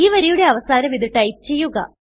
ഈ വരിയുടെ അവസാനം ഇത് ടൈപ്പ് ചെയ്യുക